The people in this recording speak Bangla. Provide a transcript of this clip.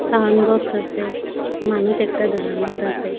সাউন্ড বক্স আছে মানুষ একটা দাঁড়ানোত আছে।